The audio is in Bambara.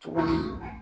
Cogo di